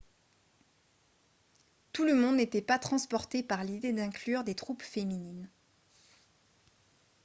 tout le monde n'était pas transporté par l'idée d'inclure des troupes féminines